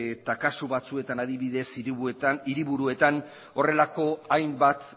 eta kasu batzuetan adibidez hiriburuetan horrelako hainbat